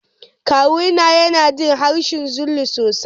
Kawuna yana jin harshen Zulu sosai.